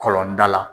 Kɔlɔnda la